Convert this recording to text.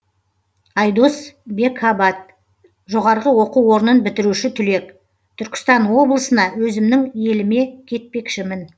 айдос бекабат жоғарғы оқу орнын бітіруші түлек түркістан облысына өзімнің еліме кетпекшімін